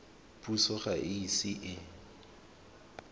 puso ga e ise e